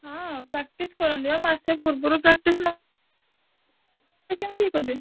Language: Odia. ହଁ practice କରନ୍ତି ବା ମାସେ ପୂର୍ବରୁ practice ନ କେମିତି ହେଇପାରିବ।